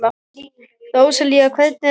Róselía, hvernig er dagskráin?